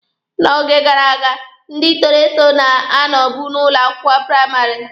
N'oge gara aga, ndị toro eto na-anọbụ n'ụlọ akwụkwọ praịmarị.